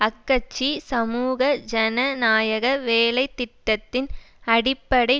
அக்கட்சி சமூக ஜனநாயக வேலை திட்டத்தின் அடிப்படை